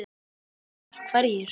Fréttamaður: Hverjir?